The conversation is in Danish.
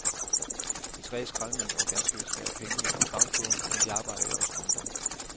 De tre skraldemænd får ganske vist færre penge ind på bankbogen, men de arbejder jo også mindre.